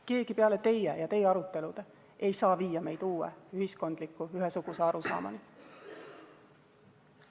Keegi peale teie ja teie arutelude ei saa viia meid uue ühiskondliku ühesuguse arusaamani.